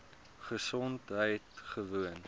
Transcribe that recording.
gesondheidgewoon